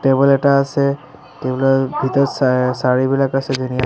Table এটা আছে table ৰ ভিতৰত শা শৰীবিলাক আছে ধুনীয়া।